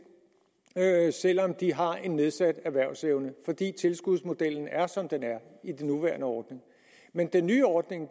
selv om de har en nedsat erhvervsevne fordi tilskudsmodellen er som den er i den nuværende ordning men den nye ordning